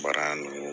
Baara nɔgɔ